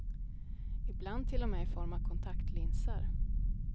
Ibland till och med i form av av kontaktlinser.